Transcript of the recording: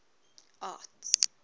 arts